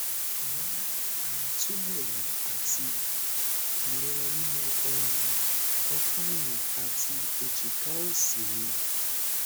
mo n ni aito eemi ati ìrora nínú um opa ẹyìn àti ẹjika òsì mi